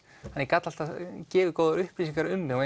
ég gat alltaf gefið góðar upplýsingar um mig og